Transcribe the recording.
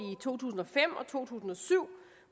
to tusind og fem og to tusind og syv